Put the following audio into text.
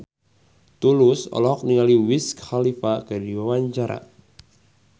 Tulus olohok ningali Wiz Khalifa keur diwawancara